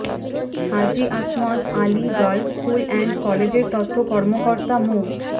Haji Asmat Ali girls school and কলেজের তথ্য কর্মকর্তা মো